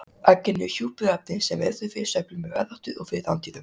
Eggin eru hjúpuð efni sem ver þau fyrir sveiflum í veðráttu og fyrir rándýrum.